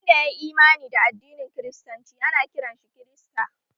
Wanda yayi Imani da addinin kiristanci ana kiran shi kirista